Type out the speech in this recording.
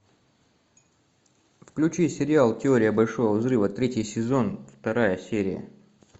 включи сериал теория большого взрыва третий сезон вторая серия